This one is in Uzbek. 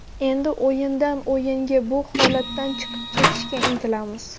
Endi o‘yindan-o‘yinga bu holatdan chiqib ketishga intilamiz.